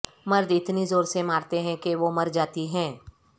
مرد اتنی زور سے مارتے ہیں کہ وہ مر جاتی ہیں